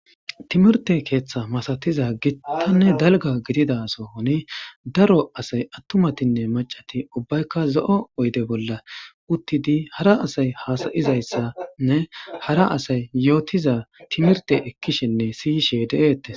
Timirte keetha masatiza gitanne dalga gidida sohoni daro asay attumatinne maccati ubbayka zo'o oyde bolla uttidi hara asay haasa'izaysanne hara asay yootiza timirte ekkishenne si'ishe de'etees.